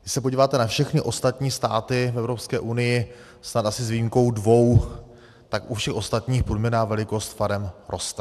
Když se podíváte na všechny ostatní státy v EU, snad asi s výjimkou dvou, tak u všech ostatních průměrná velikost farem roste.